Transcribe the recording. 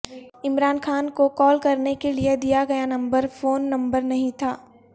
عمران خان کو کال کرنےکےلئے دیا گیا نمبر فون نمبر نہیں تھا